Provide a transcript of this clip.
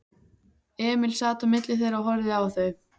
Emil sat á milli þeirra og horfði á þau.